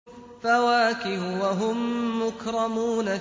فَوَاكِهُ ۖ وَهُم مُّكْرَمُونَ